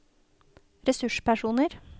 ressurspersoner